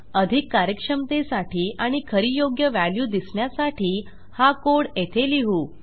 अधिक कार्यक्षमतेसाठी आणि खरी योग्य व्हॅल्यू दिसण्यासाठी हा कोड येथे लिहू